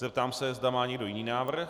Zeptám se, zda má někdo jiný návrh?